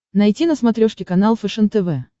найти на смотрешке канал фэшен тв